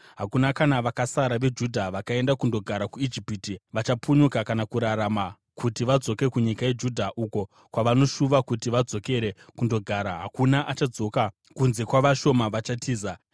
Hakuna kuna vakasara veJudha vakaenda kunogara kuIjipiti vachapunyuka kana kurarama kuti vadzoke kunyika yeJudha, uko kwavanoshuva kuti vadzokere kundogara; hakuna achadzoka kunze kwavashoma vachatiza.”